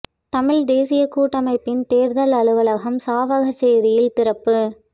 தமிழ்த் தேசியக் கூட்டமைப்பின் தேர்தல் அலுவலகம் சாவகச்சேரியில் திறப்பு